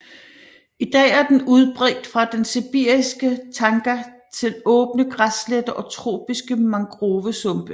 I dag er den udbredt fra den sibiriske tajga til åbne græssletter og tropiske mangrovesumpe